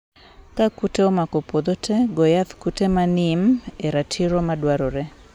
ka kute omako puodho tee, go yath kute ma neem e ratiro madwarore.